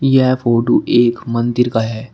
यह फोटो एक मंदिर का है।